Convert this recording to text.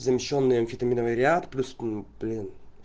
замещённый амфетаминовый ряд плюс блин